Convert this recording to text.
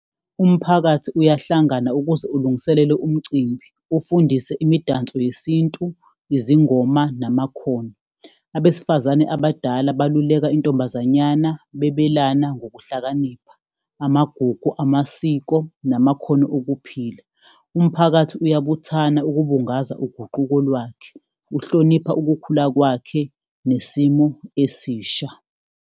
Umphakathi uyahlangana ukuze ulungiselele umcimbi, ufundise imidanso yesintu, izingoma namakhono. Abesifazane abadala beluleka intombazanyana bebelana ngokuhlakanipha, amagugu, amasiko namakhono okuphila. Umphakathi uyabuthana ukubungaza uguquko lwakhe, uhlonipha ukukhula kwakhe nesimo esisha.